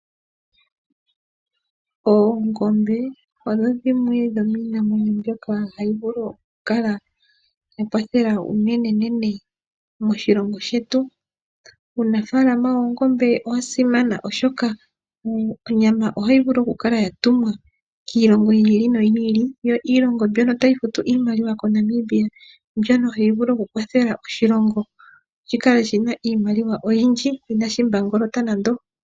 Oongombe odho dhimwe dhomiimamwenyo mbono hayi vulu oku kala yakwathela unene moshilongo shetu. Uunafalama wiimuna owa simana oshoka onyama ohayi vulu oku kala yatumwa kiilongo yimwe, yo iilongo tayi gandja iimaliwa koshilongo shetu mbyono hayi vulu kukwathela oshilongo shi kale shina iimaliwa oyindji inashi mbangolota nande.